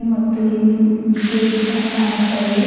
ಮತ್ತು ಇಲ್ಲಿ ಗೇಟ್ ಸಹ ಕಾಣಿಸ್ತಾ ಇವೆ.